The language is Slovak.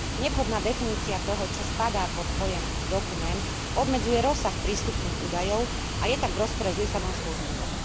Nevhodná definícia toho, čo spadá pod pojem dokument, obmedzuje rozsah prístupných údajov a je tak v rozpore s Lisabonskou zmluvou.